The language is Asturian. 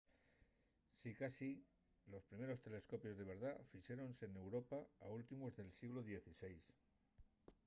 sicasí los primeros telescopios de verdá fixéronse n’europa a últimos del sieglu xvi